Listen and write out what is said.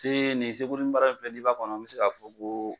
Se nin sekuli mara in filɛ n'i b'a kɔnɔ n be se k'a fɔ ko